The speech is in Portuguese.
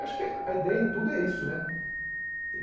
Acho que a ideia em tudo é isso, né?